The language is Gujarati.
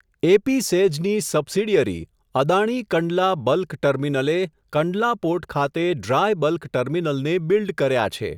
એપીસેઝની સબસિડીયરી, અદાણી કંડલા બલ્ક ટર્મિનલે, કંડલા પોર્ટ ખાતે ડ્રાય બલ્ક ટર્મિનલને બિલ્ડ કર્યા છે.